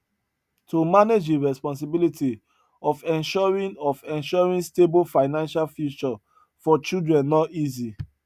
to manage di responsibility of ensuring of ensuring stable financial future for children no easy